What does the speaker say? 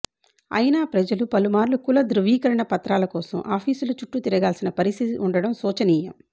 అయినా ప్రజలు పలుమార్లు కుల ధ్రువీకరణ పత్రాల కోసం ఆఫీసుల చుట్టూ తిరగాల్సిన పరిస్థితి ఉండటం శోచనీయం